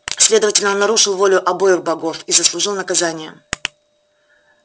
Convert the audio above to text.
следовательно он нарушил волю обоих богов и заслужил наказание